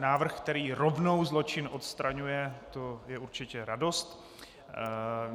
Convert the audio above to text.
Návrh, který rovnou zločin odstraňuje, to je určitě radost.